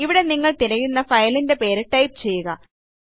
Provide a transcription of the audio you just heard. ഇവിടെ നിങ്ങൾ തിരയുന്ന ഫയലിൻറെ പേര് ടൈപ്പ് ചെയ്യുക